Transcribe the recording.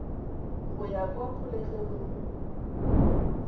ya go ya kwa kgolegelong